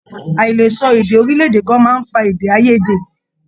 Aìlesọ èdè orilẹ-èdè kan máa n fà èdè aiyèdè.